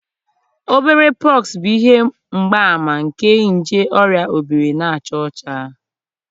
obere pox bụ ihe mgbaàmà nke nje oria obiri na aja ocha